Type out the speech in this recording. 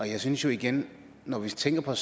jeg synes igen at når vi tænker